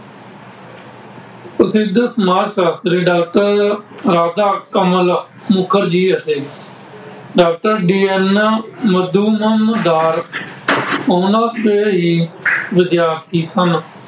ਪ੍ਰਸਿੱਧ ਸਮਾਜ ਸਾਸ਼ਤਰੀ ਡਾਕਟਰ ਰਾਬਦਾ ਕਮਲ ਮੁਖਰਜੀ ਅਤੇ ਡਾਕਟਰ ਡੀ ਐਨ ਐਮ ਮਧੂਬਨ ਡਾਰਕ, ਉਹਨਾ ਦੇ ਹੀ ਵਿਦਿਆਰਥੀ ਸਨ।